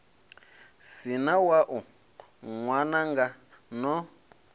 si na wau ṅwananga no